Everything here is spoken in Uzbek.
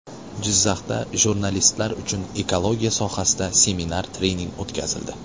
Jizzaxda jurnalistlar uchun ekologiya sohasida seminar-trening o‘tkazildi.